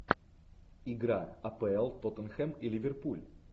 игра апл тоттенхэм и ливерпуль